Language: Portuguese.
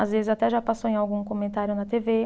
Às vezes até já passou em algum comentário na tê vê.